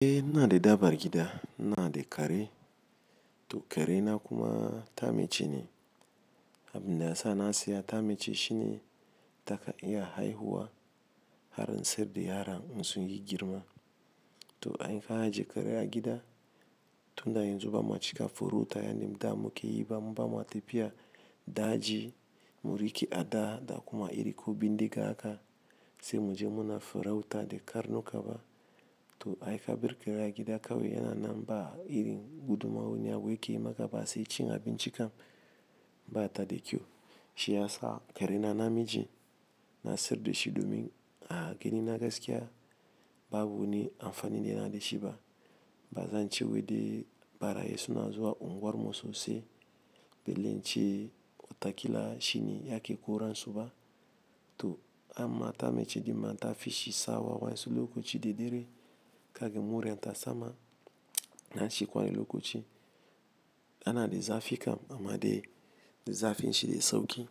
Eh, ina da dabar gida. Na da kare. To, kare na kuma ta mace ne. Abin da ya sa na siya ta mace shine ta ka iya haihuwa har in sayar da yaran in su yi girma. To, ai ka ajiye kare a gida, tun da yanzu ba ma cika furuta, yani da muke yi ba, mu ba ma tafiya daji, mu riƙi a da da kuma iri ko bindiga haka sai mu je muna furauta da karnuka ba. To, ai ka bar kare a gida kawai yana nan ba irin gudumomi ya wuce yi maka ba sai cin abinci kam ba ta da kyau. Shi ya sa kare na na miji, na sayar da shi domin a ganin na gaskiya babu wani amfani da yana da shi ba. Ba zan ce wai dai barayi suna zuwa unguwar mu sosai. Bele ce wataƙila shine yake koran su ba. To amma ta mace, ɗin ma ta fi shi sawa waensu lokaci da dare. Kagan mure ta sama, na ci kwan lokaci. Ana dai zafi kam amma dai zafin shi dai sauƙi.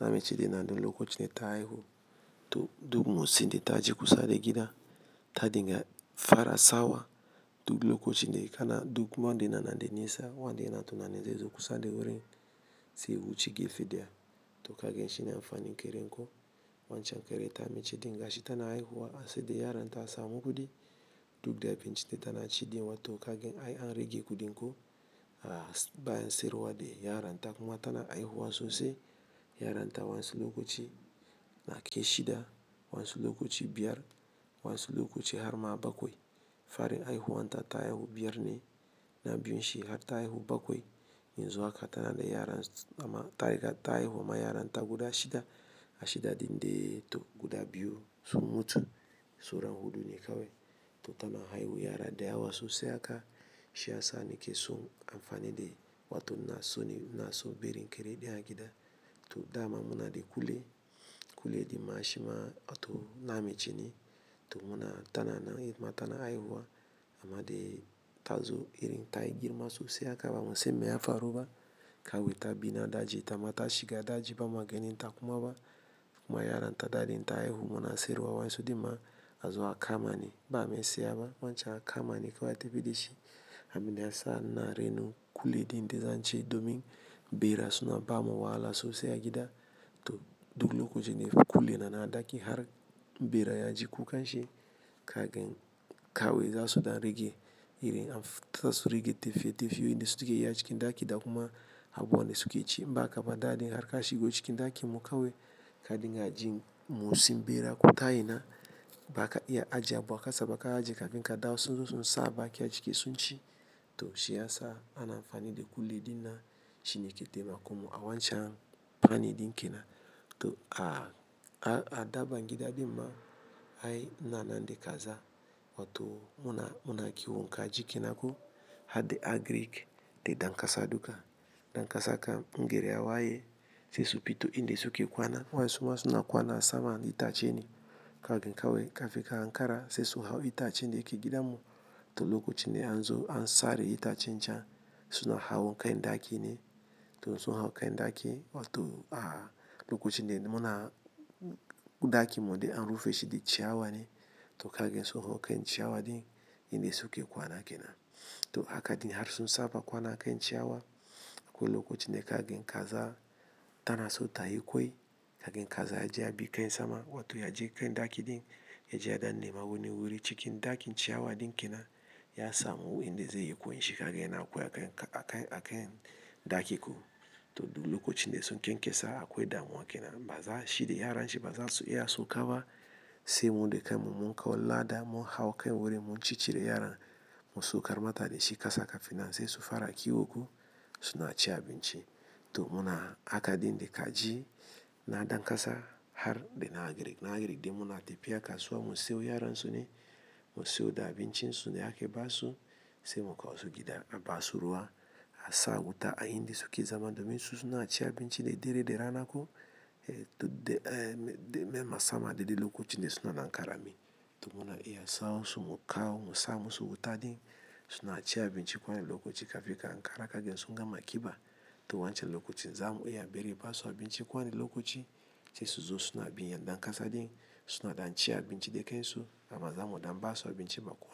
Na mace dai na da lokacin da ta haihu. To duk motsin dai ta ji kusa da gida. Ta dinga fara sawa. Duk lokacin dai kana duk wanda yana nan dai nesa, wanda yana tunanin zai zo kusa da wurin sai ya wuce gefe daya. To kagin shine amfanin kare ko wancan ƙere ta mace dinga shi tana haihuwa sai dai yaran ta suna gudu. Duk da abinci dai tana ci dinnan to kagin ai an rage kudin ko a bayan sayarwa dai yaran ta kuma tana haihuwa sosai. Yaran ta wansi lokaci na kai shida, wansi lokaci biyar, wansi lokaci har ma bakwai. Farin haihuwan ta ta haihu biyar ne na biyun shi har ta haihu bakwai. Yanzu haka tana da yaran amma ta riga ta haihuwa ma yaran ta guda shida. A shida din dai to guda biyu sun mutu. Saura huɗu ne kawai. To tana haihuwa yara da yawa sosai haka shi ya sa ni ke so amfani dai. Wato ina so ni na so barin kere ne a gida. To da na muna da kule. Kule dai ma shi ma wato na mace ne. To muna tana nan matana haihuwa amma dai ta zo irin ta yi girma sosai haka ba musan mai ya faru ba. Kawai ta bi na daji, ta mata shiga daji ba mua ganin ta kuma ba. Kuma yaran ta daɗe ta haihu muna sayarwa waensu din ma a zo a kama ni ba mai saya ba wancan a kama ni kawai tafi da shi. Abin da ya sa na raino kule din da zan ce domin bera suna bamu wahala sosai a gida. To duk lokacin dai kule na na ɗaki har bera ya ji kukan shi kagan kawai za su dan rage irin tasu rage tafiye tafiye ne suke yi a cikin ɗaki da kuma abuwan da suke ci ba kaba daji har ka shigo cikin ɗaki mu kawai ka dinga ji motsin bera ko ta ina ba ka iya ajiye abun a kasa ba ka ajiye kafin ka dawo sun zo sun sa baki a ciki sun ci. To shi ya sa ana amfani da kule dai na shine ke taimako mu a wancan amfani din kenan. To a, a, a daban gida dai ma ai na na na ɗai kaza wato muna, muna kiwon kaji kenan ko har dai agric dai dan kasa duka. Dankasa kam in gari ya waye sai su fito inda suke kwana waensu ma suna kwana sama da itace ne. Kagan kawai ka fi ka hankara sai su hau itace dai ke gidan mu. To lokacin dai an zo an sare itacen can suna hawo kai ɗaki ne. To suna hawo kai ɗaki wato a lokacin dai muna guda ki mo dai an rufe shi dai ciyawa ne. To kagin suna hawo kai ciyawa dai inda suke kwana kenan. To haka dai har sun saba kwana a kan ciyawa. Ko lokacin da ka gan kaza tana so ta yi kwai kagin kaza ya je ya bi kai sama wato ya je kai ɗaki dai ya ji a na nema wani wuri cikin ɗakin ciyawa dai kenan ya samu inda zai yi ƙoinshi kagin yana ƙwai a kai, a kai, a kai ɗaki ko. To duk lokacin dai su kenƙesa a ƙwai damuwa kenan. Ba za shi da yaran shi ba za su iya sauka ba sai mu dai kai mu mun kawo lada mun hau kai wurin mun ci cire yaran mu saukar mata da shi kasa kafina sai su fara kiwo ko suna ci abinci. To muna haka dai inda ka ji na dankasa har dai na agric. Na agric dai muna tafiya ka so a mu siyo yaran su ne mu siyo da abinci su ne ake basu sai mu kawo su gida a basu ruwa a sa wuta a inda suke zama domin su suna ci abinci dadare da rana ko. Eh to dai, eh, dai me ma sama dai dai lokacin dai suna nan ƙarami. To muna iya sa'in su mu kawo mu sa mu su wuta dai suna ci abinci ko wani lokaci kafin ka hankara kagin sun gama ƙiba. To wancan lokacin zamu iya a bari basu abinci kwan ne lokaci sai su zo suna bin ya dankasa dai suna dan ci abinci dai kai su amma zamu dan basu abinci ma kuwa.